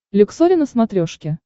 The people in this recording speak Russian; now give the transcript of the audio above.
люксори на смотрешке